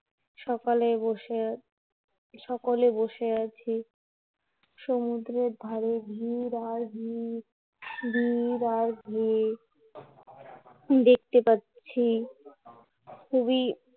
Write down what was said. সকালে বসে, সকলে বসে আছি সমুদ্রের ধারে, ভীড় আর ভীড়, ভীড় আর ভীড়, দেখতে পাচ্ছি খুবই